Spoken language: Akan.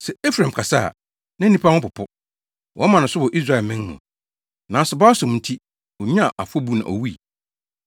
Sɛ Efraim kasa a, na nnipa ho popo; wɔma no so wɔ Israelman mu. Nanso Baalsom nti, onyaa afɔbu na owui.